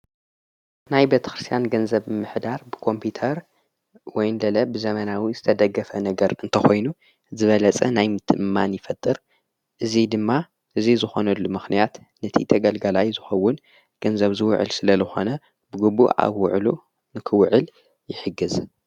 ናይ ቤተክርስያን ገንዘብ ምሕዳር ብኮምፒተር ወይንደለ ብዘመናዊ ዝተደገፈ ነገር እንተኾይኑ ዝበለጸ ናይ ምትእእምማን ይፈጥር እዙይ ድማ እዙይ ዝኾነሉ ምኽንያት ነቲ ተገልገላይ ዝኸውን ገንዘብ ዝውዕል ስለ ዝኾነ ብግቡእ ኣብውዕሉ ንክውዕል ይሕግዝ።